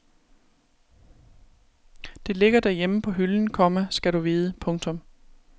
Det ligger derhjemme på hylden, komma skal du vide. punktum